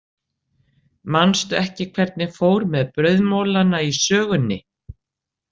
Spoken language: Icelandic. Manstu ekki hvernig fór með brauðmolana í sögunni?